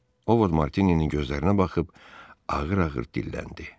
Ovod Martininin gözlərinə baxıb ağır-ağır dilləndi.